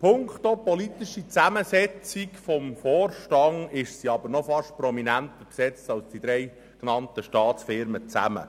Punkto politischer Zusammensetzung des Vorstands ist sie aber beinahe prominenter besetzt als die drei genannten Staatsfirmen zusammen.